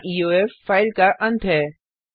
यहाँ EOF file का अंत है